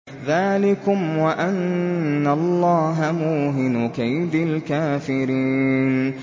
ذَٰلِكُمْ وَأَنَّ اللَّهَ مُوهِنُ كَيْدِ الْكَافِرِينَ